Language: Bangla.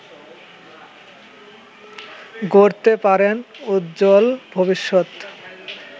গড়তে পারেন উজ্জ্বল ভবিষ্যৎ